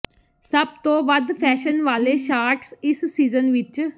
ਸਭ ਤੋਂ ਵੱਧ ਫੈਸ਼ਨ ਵਾਲੇ ਸ਼ਾਰਟਸ ਇਸ ਸੀਜ਼ਨ ਵਿੱਚ